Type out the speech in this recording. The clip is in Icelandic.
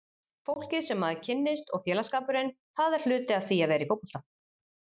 Fólkið sem maður kynnist og félagsskapurinn, það er hluti af því að vera í fótbolta.